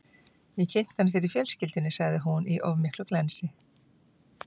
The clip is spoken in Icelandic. Ég kynnti hann fyrir fjölskyldunni, sagði hún, í of miklu glensi.